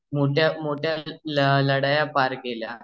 मोठ्या लढाया पार केल्या